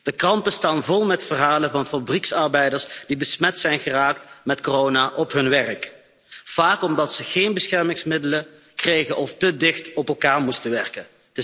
De kranten staan vol met verhalen van fabrieksarbeiders die besmet zijn geraakt met corona op hun werk, vaak omdat ze geen beschermingsmiddelen kregen of te dicht op elkaar moesten werken.